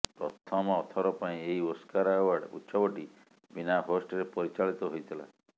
ପ୍ରଥମର ଥର ପାଇଁ ଏହି ଓସ୍କାର ଆୱାର୍ଡ ଉତ୍ସବଟି ବିନା ହୋଷ୍ଟରେ ପରିଚାଳିତ ହୋଇଥିଲା